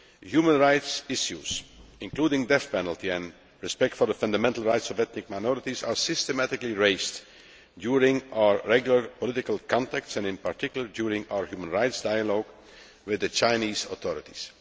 Human rights issues, including the death penalty and respect for the fundamental rights of ethnic minorities, are systematically raised during our regular political contacts and, in particular, during our human rights dialogue with the Chinese authorities.